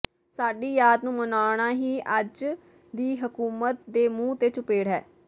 ਸਾਡੀ ਯਾਦ ਨੂੰ ਮਨਾਉਣਾ ਹੀ ਅੱਜ ਦੀ ਹਕੂਮਤ ਦੇ ਮੂੰਹ ਤੇ ਚੁਪੇੜ ਹੈ